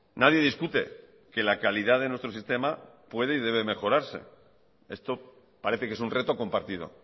nadie discute que la calidad de nuestro sistema puede y debe mejorarse esto parece que es un reto compartido